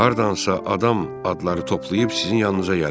Hardansa adam adları toplayıb sizin yanınıza gəlib.